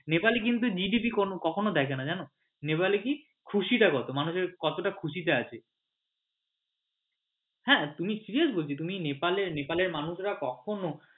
নেপালে কিন্তু GDP কখনো দেখেনা জানো নেপালে কি খুশী টা কত মানে হচ্ছে কি কতটা খুশী তে আছে হ্যাঁ তুমি serious বলছি তুমি নেপালের মানুষেরা কখনো